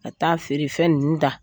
Ka taa feerefɛn ninnu ta